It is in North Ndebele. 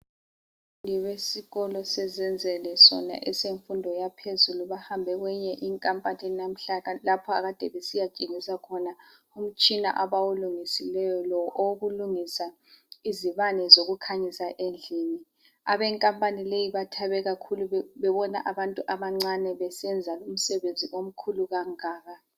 Kusekwesikolo eSezenzele sona esemfundo yaphezulu bahambe kweyinye inkampani nahla lapha ade besiya tshengisa khona umtshina abawulungisileyo lo okulungisa izibane zokukhanyisa endlini. Abenkampani leyo bathabe kakhulu bebona abantu abancane besenza umsebenzi omkhulu kangaka.